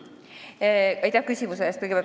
Aitäh küsimuse eest!